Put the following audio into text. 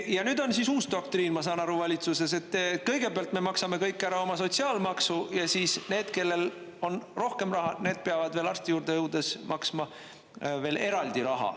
Ja nüüd on siis uus doktriin valitsuses, et kõigepealt me maksame kõik ära oma sotsiaalmaksu ja siis need, kellel on rohkem raha, need peavad arsti juurde jõudes maksma veel eraldi raha.